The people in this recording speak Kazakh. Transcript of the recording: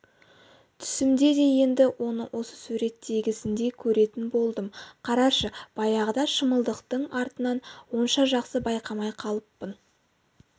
түсімде де енді оны осы суреттегісіндей көретін болдым қарашы баяғыда шымылдықтың артынан онша жақсы байқамай қалыппын